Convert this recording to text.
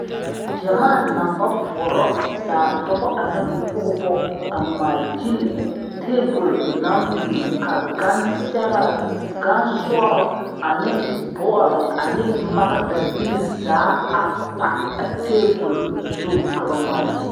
Gyamaa naŋ ba poɔrɔ zaa dɔba ane pɔgeba a ŋmaagyili tabol naŋ biŋ ka gansɛgrɛ gansɔrɔ ane bɔle ane magdabilii zaa a pa a tabol zuŋ ka ba ŋmaagyili.